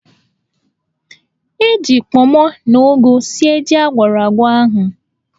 E ji kpọmọ na ụgụ sie jí agwọrọ agwọ ahụ.